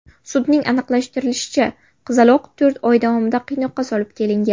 Sudning aniqlashtirishicha, qizaloq to‘rt oy davomida qiynoqqa solib kelingan.